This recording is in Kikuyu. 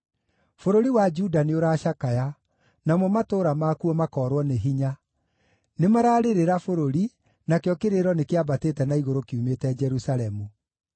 “Bũrũri wa Juda nĩũracakaya, namo matũũra makuo makoorwo nĩ hinya; nĩmararĩrĩra bũrũri, nakĩo kĩrĩro nĩkĩambatĩte na igũrũ kiumĩte Jerusalemu.